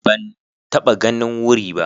Ban taɓa ganin wuri ba